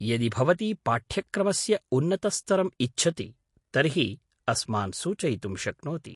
यदि भवती पाठ्यक्रमस्य उन्नतस्तरम् इच्छति तर्हि अस्मान् सूचयितुं शक्नोति।